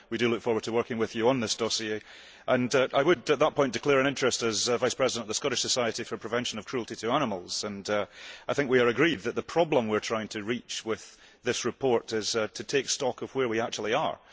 We look forward to working with you on this dossier and I would, at this point, declare an interest as vice president of the Scottish Society for the Prevention of Cruelty to Animals. I think we agree that the problem we are trying to address with this report is to take stock of where we actually are.